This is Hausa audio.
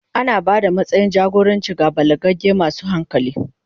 Ana ba da matsayin jagoranci ga balagagge masu hankali.